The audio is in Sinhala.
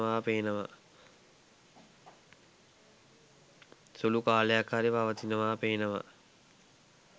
සුලූ කාලයක් හරි පවතිනව පේනවා.